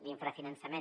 l’infrafinançament